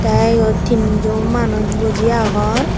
te iyot tinnu manuj boji agon.